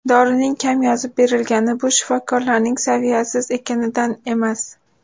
Dorining kam yozib berilgani bu shifokorlarning saviyasiz ekanidan emas.